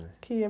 né? qui é...